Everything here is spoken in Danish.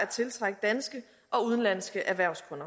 tiltrække danske og udenlandske erhvervsfolk